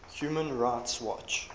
human rights watch